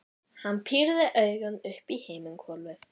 Hann pírði augun upp í himinhvolfið.